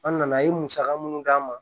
An nana a ye musaka mun d'an ma